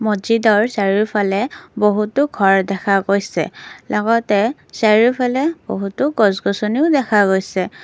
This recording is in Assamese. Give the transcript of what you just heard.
মছজিদৰ চাৰিওফালে বহুতো ঘৰ দেখা গৈছে লগতে চাৰিওফালে বহুতো গছ গছনিও দেখা গৈছে।